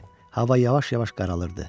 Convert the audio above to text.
Hava yavaş-yavaş qaralırdı.